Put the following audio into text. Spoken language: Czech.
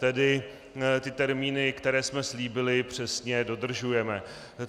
Tedy ty termíny, které jsme slíbili, přesně dodržujeme.